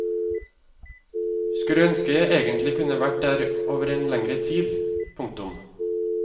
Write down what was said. Skulle ønske jeg egentlig kunne vært der over en lengre tid. punktum